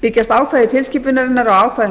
byggjast ákvæði tilskipunarinnar á ákvæðum